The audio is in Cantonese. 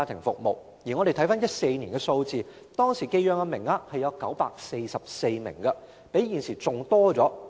在2014年，寄養名額有944名，較現時為多。